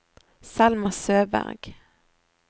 Selma Søberg